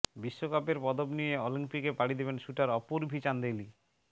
বিশ্বকাপের পদক নিয়ে অলিম্পিকে পাড়ি দেবেন শুটার অপুর্ভি চান্দেলি